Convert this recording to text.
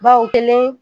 Ba o kelen